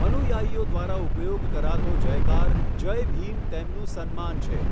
અનુયાયીઓ દ્વારા ઉપયોગ કરાતો જયકાર 'જય ભીમ' તેમનું સન્માન છે.